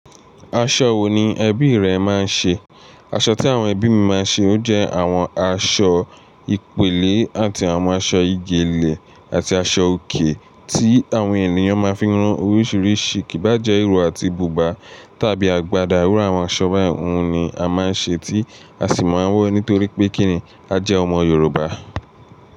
Aṣọ wo ni ẹbí rẹ máa ń ṣe? Aṣọ tí àwọn ẹbí mi máa ń ṣe ó jẹ́ àwọn aṣọ ìpélé àti àwọn aṣọ ìjẹ́lẹ̀ àti aṣọ òkè tí àwọn ènìyàn máa ń fi rún oríṣiríṣi. Kì bá jẹ́ ìró àti bùbá tàbí àgbàdá, irú àwọn aṣọ báyìí ni a máa ń ṣe tí a sì máa ń wọ̀ nítorí pé kíni a jẹ́ ọmọ Yorùbá.